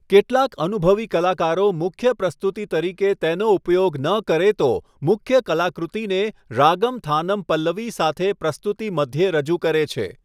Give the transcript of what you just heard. કેટલાક અનુભવી કલાકારો મુખ્ય પ્રસ્તુતિ તરીકે તેનો ઉપયોગ ન કરે તો, મુખ્ય કલાકૃતિને રાગમ થાનમ પલ્લવી સાથે પ્રસ્તુતિ મધ્યે રજૂ કરે છે.